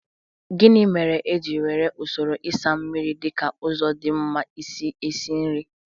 Gịnị mere e ji were usoro ịsa mmiri dị ka ụzọ dị mma isi esi nri?